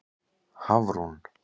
Hafrún